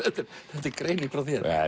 þetta er greining frá þér